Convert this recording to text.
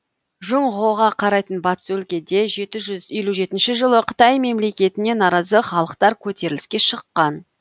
жұңғоға қарайтын батыс өлкеде жеті жүз елу жетінші жылы қытай мемлекетіне наразы халықтар көтеріліске шыққан